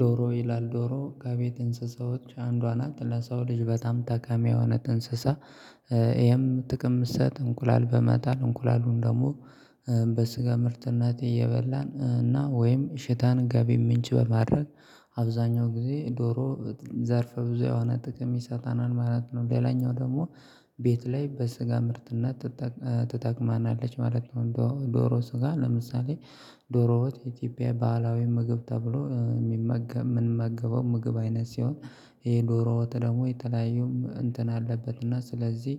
ዶሮ ይላል ዶሮ ከቤት ትንስሳዎች አንዷ ናት ለሰው ልጅ በጣም ጠቃሚ የሆነ እንስሳ ይሄም ጥቅም እምሰጥ እንቁላል በመጣል እንቁላሉን ደግሞ በስጋ ምርትነት እየበላን እና ወይም እሽታን ገቢ ምንጭ በማድረግ አብዛኛው ጊዜ ዶሮ ዘርፈ ብዙ የሆነ ጥቅም ይሰጠናል ማለት ነው። ሌላኛው ደግሞ ቤት ላይ በስጋ ምርትነት ትጠቅመናለች ማለት ነው። ዶሮ ስጋ ለምሳሌ ዶሮ ወጥ የኢትዮጵያ ባህላዊ ምግብ ተብሎ የሚመገብ የምንመገበው ምግብ አይነት ሲሆን። ይሄ ዶሮ ወጥ ደግሞ የተለያዩ እንትን አለበት እና ስለዚህ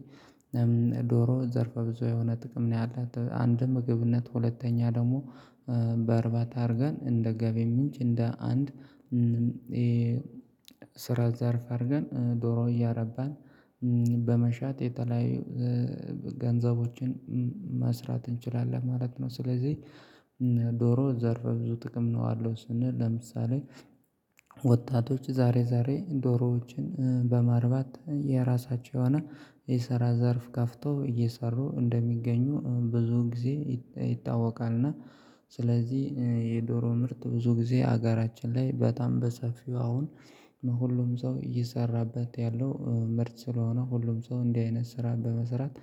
ዶሮ ዘርፈ ብዙ የሆነ ጥቅም ነው። ያላት አንድ ምግብነት ሁለተኛ ደግሞ በእርባታ አድርገን እንደ ገቢ ምንጭ እንደ አንድ የስራ ዘርፍ አድርገን ዶሮ እያረባን በመሸጥ የተለያዩ ገንዘቦችን መስራት እንችላለን ማለት ነው። ስለዚህ ዶሮ ዘርፈ ብዙ ጥቅም ነው ያለው። ስንል ለምሳሌ ወጣቶች ዛሬ ዛሬ ዶሮዎችን በማርባት የራሳቸውን የስራ ዘርፍ ከፍተው እየሰሩ እንደሚገኙ ብዙ ጊዜ ይታወቃል። እና ስለዚህ የዶሮ ምርት ብዙ ጊዜ ሀገራችን ላይ በጣም በሰፊው አሁን ሁሉም ሰው እየሰራበት ያለው ምርት ስለሆነ ሁሉም ሰው እንዲህ አይነት ስራ በመስራት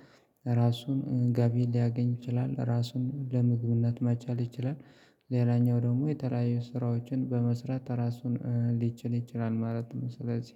ራሱን ገቢ ሊያገኝ ይችላል። ራሱን ለምግብነት መቻል ይችላል። ሌላኛው ደግሞ የተለያዩ ስራዎችን በመስራት ራሱን ሊችል ይችላል ማለት ነው። ስለዚህ